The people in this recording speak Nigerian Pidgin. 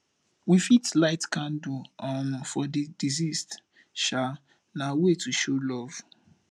we fit light candle um for di deceased um na way to show love